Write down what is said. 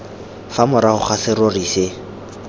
fa morago ga serori se